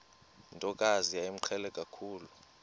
ntokazi yayimqhele kakhulu